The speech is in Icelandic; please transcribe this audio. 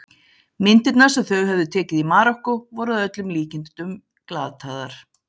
Myndirnar sem þau höfðu tekið í Marokkó voru að öllum líkindum glataðar.